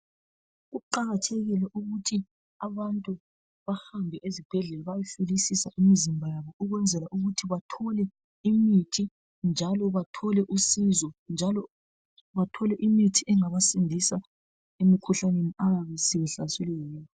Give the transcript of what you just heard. Kuqakathekile ukuthi abantu bahambe esibhedlela bayehlolisisa imizimba yabo ukwenzela ukuthi bathole imithi njalo bathole usizo njalo bathole imithi engabasindisa emikhuhlaneni abayabe sebehlaselwe yiyo.